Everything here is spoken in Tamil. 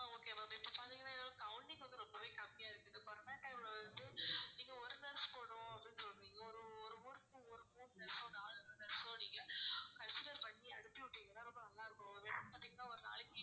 consider பண்ணி அடிச்சு விட்டீங்கன்னா ரொம்ப நல்லாருக்கும் ஏன்னா பாத்தீங்கன்னா ஒருநாளைக்கு